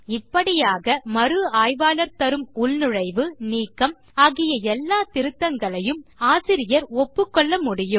இப்படியாக மறு ஆய்வாளர் தரும் உள்நுழைவு நீக்கம் ஆகிய எல்ல திருத்தங்களையும் ஆசிரியர் ஒப்புக்கொள்ள முடியும்